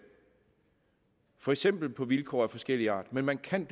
for eksempel på vilkår af forskellig art men man kan